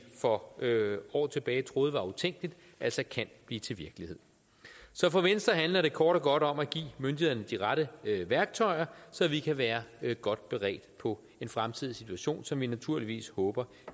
for år tilbage troede var utænkeligt altså kan blive til virkelighed så for venstre handler det kort og godt om at give myndighederne de rette værktøjer så vi kan være godt beredt på en fremtidig situation som vi naturligvis håber